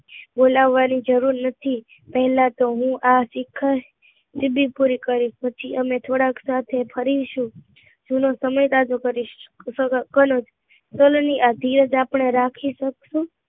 બોલવાની જરૂર નોતી પેહલા તો હું આ શિખર ને બી પૂરી કરીશ, અને પછી સાથે ફરીશું જૂનો સમય યાદ કરીશું ધીરજ આપડે રાખીશું